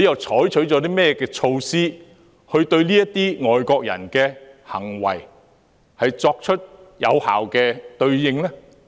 採取了甚麼措施，就這些外國人的行為作出有效的對應呢？